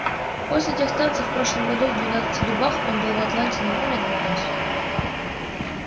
после тех танцев в прошлом году в двенадцати дубах он был в атланте не более двух раз